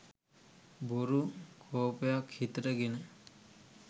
බොරු කෝපයක් හිතට ගෙන